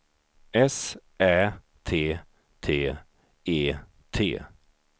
S Ä T T E T